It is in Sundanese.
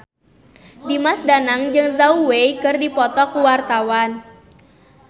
Dimas Danang jeung Zhao Wei keur dipoto ku wartawan